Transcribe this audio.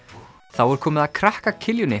þá er komið að krakka